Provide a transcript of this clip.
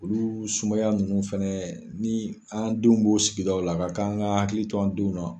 Olu sumaya nunnu fɛnɛ ni an denw b'o sigidaw la, a ka k'an ka hakili to an denw na.